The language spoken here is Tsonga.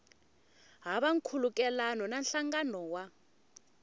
hava nkhulukelano na nhlangano wa